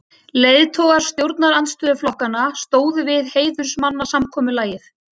Leiðtogar stjórnarandstöðuflokkanna stóðu við heiðursmannasamkomulagið.